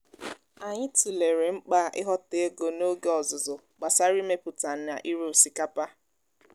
anyị tụlere mkpa ịghọta ego n’oge ọzụzụ gbasara imepụta na ire osikapa